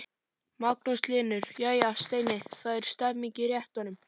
Magnús Hlynur: Jæja Steini, það er stemning í réttunum?